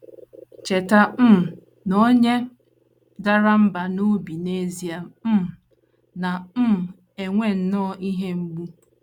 Cheta um na onye dara mbà n’obi n’ezie um na um - enwe nnọọ ihe mgbu.